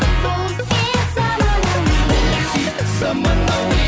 бұл хит заманауи бұл хит заманауи